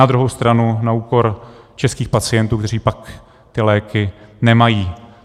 Na druhou stranu na úkor českých pacientů, kteří pak ty léky nemají.